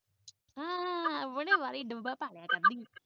ਹਾਂ ਵਾਲੀ ਡੱਬਾ ਭਾ